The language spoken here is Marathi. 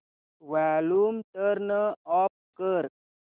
वॉल्यूम टर्न ऑफ कर